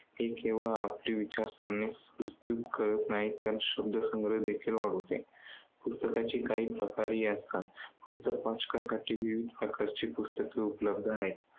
ते केवळ आपली विचारसरणीस करत नाहीत तर शब्दसंग्रह देखली वाढवते. पुस्तकांचे काही प्रकारही असतात. पुस्तक वाचकांसाठी विविध प्रकारेची पुस्तके उपलब्ध आहेत.